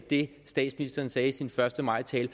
det statsministeren sagde i sin første maj tale